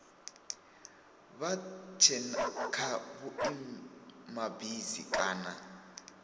vha tse kha vhuimabisi kana